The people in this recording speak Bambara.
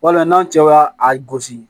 Wala n'an cɛ y'a a gosi